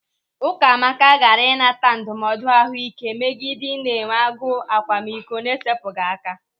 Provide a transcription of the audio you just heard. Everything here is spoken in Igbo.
Ụkamaka gaara ịnata ndụmọdụ ahụike megide ị na-enwe agụ akwamiko na-esepụghị aka.